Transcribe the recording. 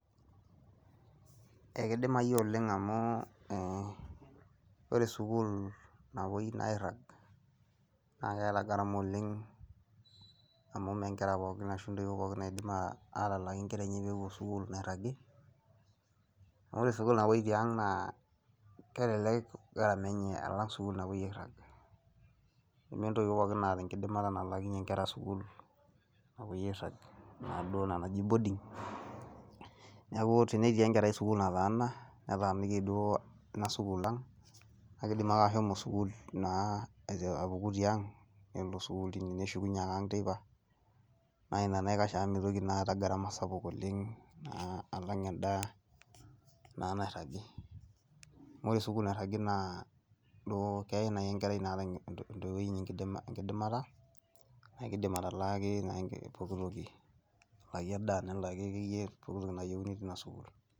Ekidimai oleng amu ,eeh wore sukul napoi airang, naa keeta garama oleng amu mee ngeraa pookin ashu ndoiwou pookin nadim atalaaki ngera enye peepuo sukul nairagi. Wore sukul napoi tiang naa kelelek garama enye alang sukul napoi airag . Neme ndoiwou pookin naata enkidimata naalakinye ngera sukul napoi airang naaduo ena naji boarding , niaku tenetii enkerai sukul nataana , netaaniki duo ena sukul ang , naa kidim ake ashomo sukul naa apuku tiang nelo sukul teine neshukunye ake ang teipa , naa inanaikash amu mitoki naa ata garama sapuk oleng naa alang enda nairagi . Amu wore sukul nairagi naa , keyai duo enkerai naata intoiwoi enye enkidimata amu kidim atalaaki naa pookitoki ,nelaaki endaa nelaaki akeyie pookitoki nayeuni tinasukul.